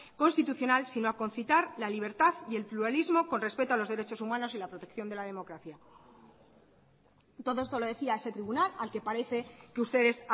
constitucional sino a concitar la libertad y el pluralismo con respecto a los derechos humanos y la protección de la democracia todo esto lo decía ese tribunal al que parece que ustedes